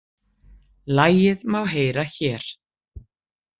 Lagið má heyra hér